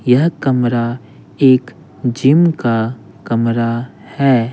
यह कमरा एक जिम का कमरा है।